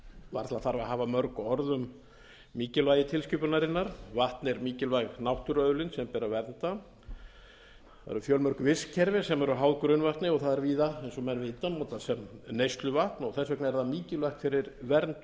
varla þarf að hafa mörg orð um mikilvægi tilskipunarinnar vatn er mikilvæg náttúruauðlind sem ber að vernda það eru fjölmörg vistkerfi sem eru háð grunnvatni og það er víða eins og menn vita notað sem neysluvatn og þess vegna er það mikilvægt fyrir vernd